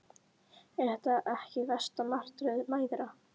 Er það ekki versta martröð mæðra?